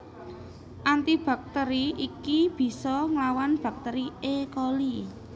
Anti baktÈri iki bisa nglawan baktèri E Coli